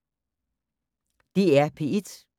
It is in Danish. DR P3